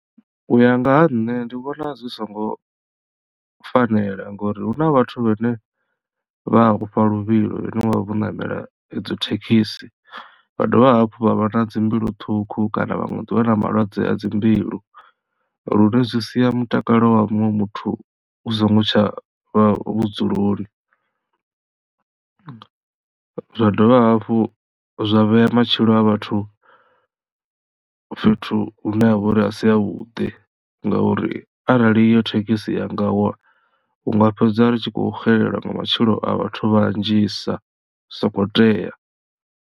U ya nga ha nṋe ndi vhona zwi songo fanela ngori hu na vhathu vhane vha ofha luvhilo vhane vha vha vho ṋamela idzo thekhisi vha dovha hafhu vha vha na dzi mbilu ṱhukhu kana vhaṅwe vha na malwadze a dzi mbilu lune zwi sia mutakalo wa muṅwe muthu u songo tsha vha vhudzuloni. Zwa dovha hafhu zwa vhea matshilo a vhathu fhethu hune ha vha uri a si havhuḓi ngauri arali iyo thekhisi ya nga wa hu nga fhedza ri tshi khou xelelwa nga matshilo a vhathu vhanzhisa zwi soko tea.